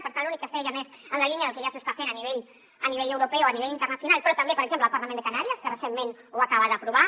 per tant l’únic que fèiem és en la línia del que ja s’està fent a nivell europeu a nivell internacional però també per exemple al parlament de canàries que recentment ho acaba d’aprovar